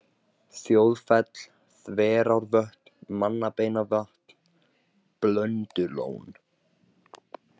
Þjóðfell, Þverárvötn, Mannabeinavatn, Blöndulón